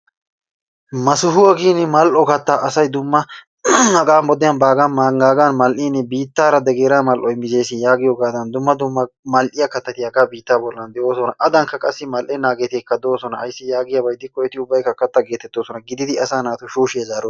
Masuwa giin asay mal"o kattaa asay dumma hagaa wodiyan baaga manggaagan mal'iin biittaara degenerate mal"oy mizzees yaagiyogaadan dumma dumma mal'iya kattati hagaa biittaa bollan de'oosona, Adankka qassi mal'ennageetikka doosona, ayssi yaagiyaba gidikko eti ubbaykka katta gettettoosona, gididi asaa naatu shushshiya zaro...